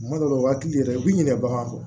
Tuma dɔw la u hakili yɛrɛ b'i ɲininka baganw kɔ